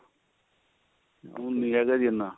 ਹੁਣ ਨੀ ਹੈਗਾ ਜੀ ਇੰਨਾ